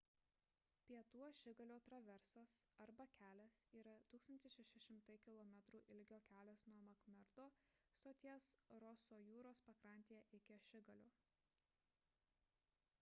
pietų ašigalio traversas arba kelias yra 1600 km ilgio kelias nuo makmerdo stoties roso jūros pakrantėje iki ašigalio